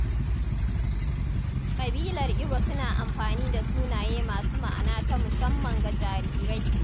Kabilar Igbo suna amfani da sunaye masu ma’ana ta musamman ga jarirai.